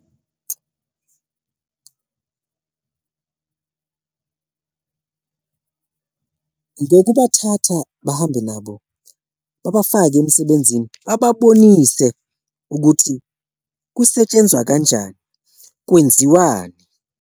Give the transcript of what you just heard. Ngokubathatha bahambe nabo babafake emsebenzini, bababonise ukuthi kusetshenzwa kanjani, kwenziwani.